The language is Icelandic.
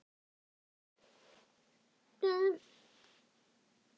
Og nú heldur sagan áfram!